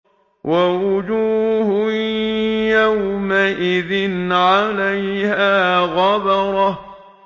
وَوُجُوهٌ يَوْمَئِذٍ عَلَيْهَا غَبَرَةٌ